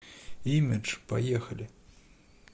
имидж поехали